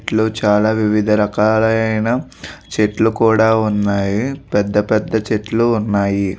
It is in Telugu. వీటిలో చాలా వివిధ రకాలైన చెట్లు కూడా ఉన్నాయి పెద్ద పెద్ద చెట్లు ఉన్నాయి.